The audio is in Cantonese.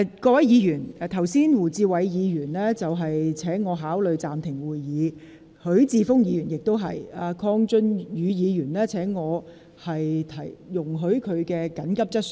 各位議員，胡志偉議員剛才請我考慮暫停會議，許智峯議員亦然，而鄺俊宇議員則請我容許他提出緊急質詢。